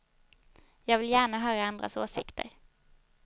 Jag vill gärna höra andras åsikter.